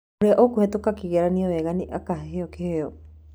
Ũrĩa ũkũhĩtũka kĩgeranio wega nĩ akaheo kĩheo.